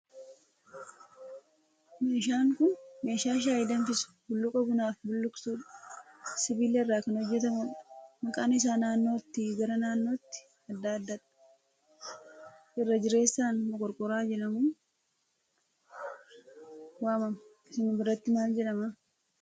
Meeshaan kun meeshaa shayii danfisu, bulluqa bunaaf bulluqsuu dha. Sibiila irraa kan hojjetamudha. Maqaan isaa naannootii gara naannootti adda adda dha. Irra jireessaan moqorqoraa jedhamuun waamama. Isin biratti maal jedhama?